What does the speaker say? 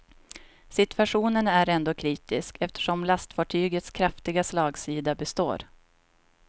Situationen är ändå kritisk, eftersom lastfartygets kraftiga slagsida består.